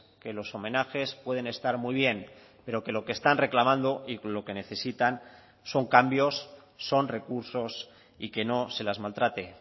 que los homenajes pueden estar muy bien pero que lo que están reclamando y lo que necesitan son cambios son recursos y que no se las maltrate